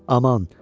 Aman!